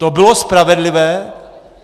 To bylo spravedlivé?